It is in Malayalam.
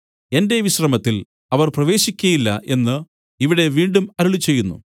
എന്റെ വിശ്രമത്തിൽ അവർ പ്രവേശിക്കയില്ല എന്നു ഇവിടെ വീണ്ടും അരുളിച്ചെയ്യുന്നു